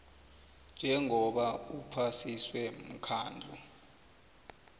njengoba uphasiswe mkhandlu